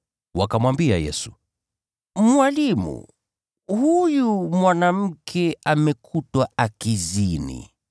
Wakamwambia Yesu, “Mwalimu, huyu mwanamke amekutwa akizini.